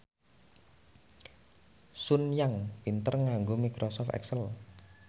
Sun Yang pinter nganggo microsoft excel